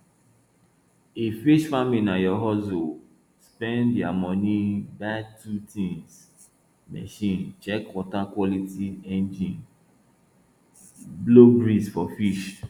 if fish farming na your hustle spend ya money buy two tins machine check water quality engine blow breeze for fish